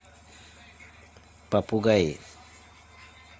попугаи